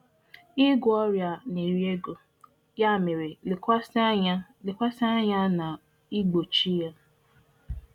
um Igwọ ọrịa um um na- efu ego, ya mere, lekwasị anya karịsịa n'ọgwụgwọ ya. um